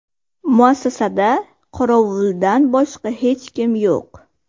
Muassasada qorovuldan boshqa hech kim yo‘q.